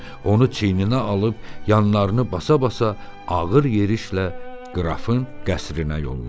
Onu çiyninə alıb yanlarını basa-basa ağır yerişlə qrafın qəsrinə yollandı.